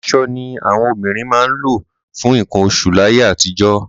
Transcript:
Aṣọ ni àwọn obìnrin máa ń lò fún nǹkan oṣù láyé àtijọ́.